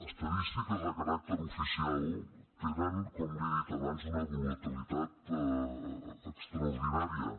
estadístiques de caràcter oficial tenen com li he dit abans una volatilitat extraordinària